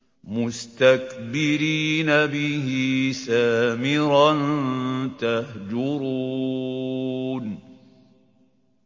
مُسْتَكْبِرِينَ بِهِ سَامِرًا تَهْجُرُونَ